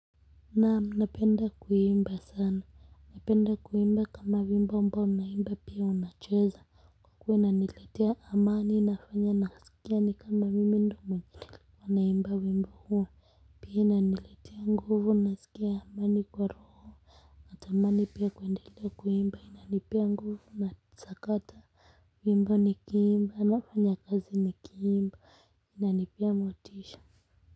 Naam, naenda kuimba sana na penda kuimba kama wimbo ambao unaimba pia unacheza kwa kuwa inaniletea amani inafanya nasikia ni kama mimi ndo mwenye alikuwa anaimba wimbo huo pia inaniletea nguvu nasikia amani kwa roho natamani pia kuendelea kuimba inanipea nguvu na sakata wimbo ni kiimba nafanya kazi ni kiimba inanipea motisha.